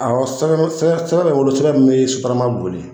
sotarama boli.